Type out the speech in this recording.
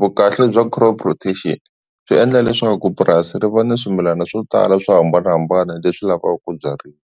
vukahle bya crop rotation swi endla leswaku purasi ri va ni swimilana swo tala swo hambanahambana leswi lavaka ku byariwa.